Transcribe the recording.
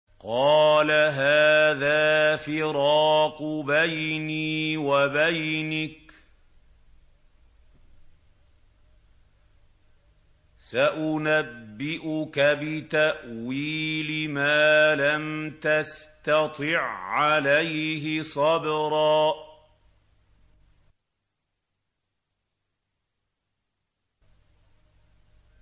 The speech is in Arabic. قَالَ هَٰذَا فِرَاقُ بَيْنِي وَبَيْنِكَ ۚ سَأُنَبِّئُكَ بِتَأْوِيلِ مَا لَمْ تَسْتَطِع عَّلَيْهِ صَبْرًا